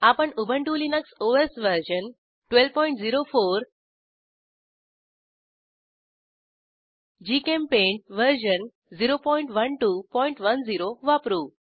आपण Ubuntu Linux OS version 1204 GChemPaint version 01210 वापरू